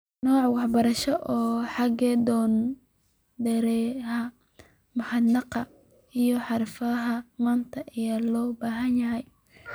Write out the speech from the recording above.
Nooc waxbarasho oo hagi doona dareeraha mihnadaha iyo xirfadaha maanta ayaa loo baahan yahay.